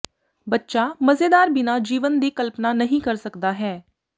ਬੱਚਾ ਮਜ਼ੇਦਾਰ ਬਿਨਾ ਜੀਵਨ ਦੀ ਕਲਪਨਾ ਨਹੀ ਕਰ ਸਕਦਾ ਹੈ